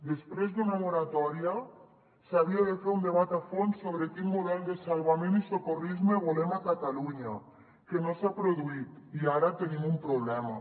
després d’una moratòria s’havia de fer un debat a fons sobre quin model de salvament i socorrisme volem a catalunya que no s’ha produït i ara tenim un problema